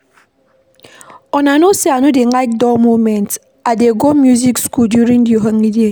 Una know say I no dey like dull moment, I dey go music school during the holiday.